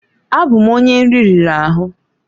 Abụ m onye nri riri ahụ.